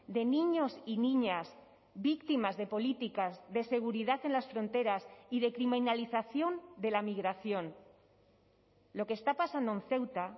de niños y niñas víctimas de políticas de seguridad en las fronteras y de criminalización de la migración lo que está pasando en ceuta